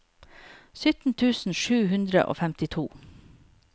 sytten tusen sju hundre og femtito